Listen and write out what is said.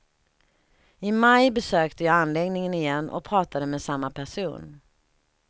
I maj besökte jag anläggningen igen och pratade med samma person.